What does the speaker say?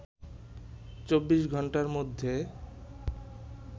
২৪ ঘন্টার মধ্যে